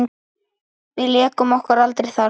Við lékum okkur aldrei þar.